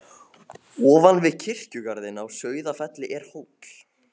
Ofan við kirkjugarðinn á Sauðafelli er hóll.